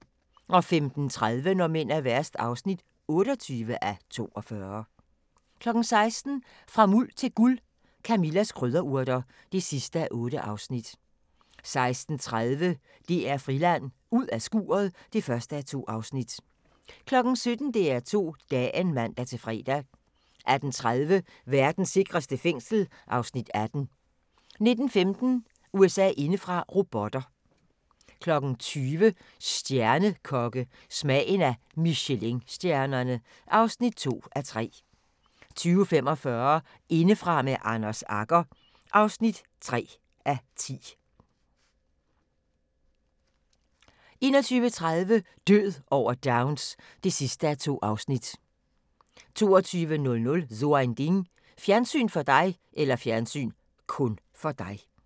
15:30: Når mænd er værst (28:42) 16:00: Fra Muld til Guld – Camillas krydderurter (8:8) 16:30: DR Friland: Ud af skuret (1:2) 17:00: DR2 Dagen (man-fre) 18:30: Verdens sikreste fængsel (Afs. 18) 19:15: USA indefra: Robotter 20:00: Stjernekokke – Smagen af Michelinstjernerne (2:3) 20:45: Indefra med Anders Agger (3:10) 21:30: Død over Downs (2:2) 22:00: So ein Ding: Fjernsyn (kun) for dig